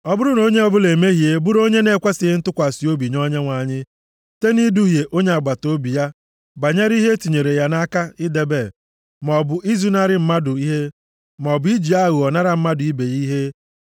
“Ọ bụrụ na onye ọbụla emehie bụrụ onye na-ekwesighị ntụkwasị obi nye Onyenwe anyị, site nʼiduhie onye agbataobi ya banyere ihe e tinyere ya nʼaka idebe, maọbụ izunarị mmadụ ihe, maọbụ iji aghụghọ nara mmadụ ibe ya ihe;